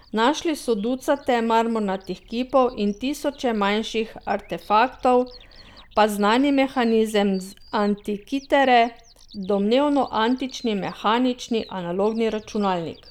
Našli so ducate marmornatih kipov in tisoče manjših artefaktov, pa znani mehanizem z Antikitere, domnevno antični mehanični analogni računalnik.